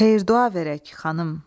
Xeyir-dua verək, xanım.